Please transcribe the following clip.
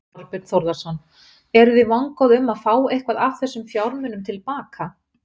Þorbjörn Þórðarson: Eru þið vongóð um að fá eitthvað af þessum fjármunum til baka?